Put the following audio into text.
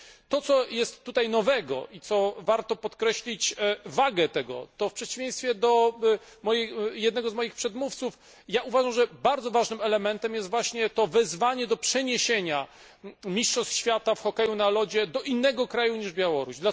To, co jest tutaj nowego i czego wagę warto podkreślić, to w przeciwieństwie do jednego z moich przedmówców ja uważam, że bardzo ważnym elementem jest właśnie to wezwanie do przeniesienia mistrzostw świata w hokeju na lodzie do innego kraju niż Białoruś.